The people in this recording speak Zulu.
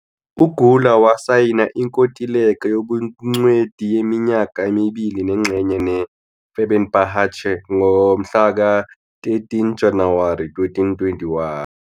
UUGüler wasayina inkontileka yobungcweti yeminyaka emibili nengxenye ne-Fenerbahçe ngo-13 January 2021.